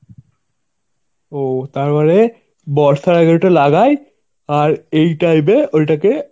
ও তার মানে বর্ষার আগে ওটা লাগায়. আর এই time এ ওইটাকে